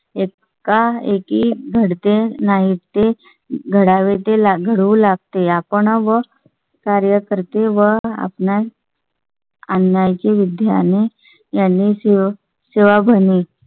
एक काळ एक ही घडते नाहीत ते घडावे घडवू लागते. आपण व या कार्यकर्ते व आपणास. आणाय चे विद्या ने यांनी सेवक सेवा ॠणी